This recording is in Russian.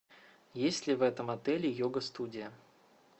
есть ли в этом отеле йога студия